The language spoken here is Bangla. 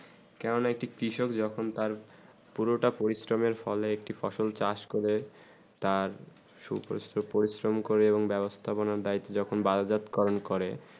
কেমন একটি পিশাব যেমন তার পুরো তা পরিশ্রম ফল একটি ফসল চাষ করে তার সুপ্রসন্ন পরিশ্রম করে বেবস্তা বোণা দায়িত্বযখন বায়জাতকরণ করে